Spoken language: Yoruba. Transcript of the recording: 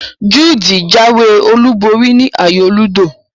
Jude jáwé olúborí ni ayò ludo